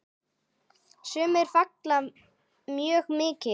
Sumir fagna mjög mikið.